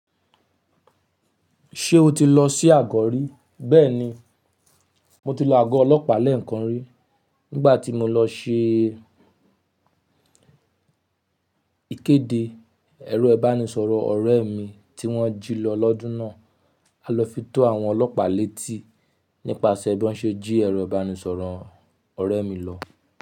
Ṣé o ti lọ sí àgọ̀ rí? Bẹ́ẹ̀ni, mo ti lọ àgọ́ ọlọ́pàá lẹ́ẹ̀kan rí nígbà tí mo lọ ṣe ìkéde ẹ̀rọ ìbánisọ̀rọ̀ ọ̀rẹ́ mi tí wọ́n jí lọ lọ́dún náà. A lọ fi tó àwọn ọlọ́pàá létí nípasẹ̀ bí wọ́n ṣe jí ẹ̀rọ ìbánisọ̀rọ̀ ọ̀rẹ́ mi lọ.